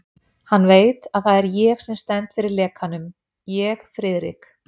Hann veit, að það er ég sem stend fyrir lekanum ég, Friðrik